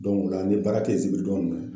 o la n bɛ baara kɛ zigiri donya ninnu fɛ.